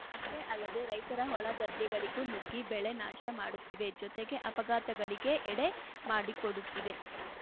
ಅಷ್ಟೇ ಅಲ್ಲದೇ ರೈತರ ಹೊಲ ಗದ್ದೆಗಳಿಗೂ ನುಗ್ಗಿ ಬೆಳೆ ನಾಶ ಮಾಡುತ್ತಿವೆ ಜೊತೆಗೆ ಅಪಘಾತಗಳಿಗೆ ಎಡೆ ಮಾಡುಕೊಡುತ್ತಿವೆ